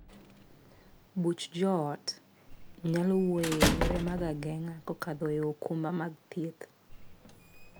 Buch joot nyalo wuoye e yore mag ageng'a kokadho e okumba mag thieth.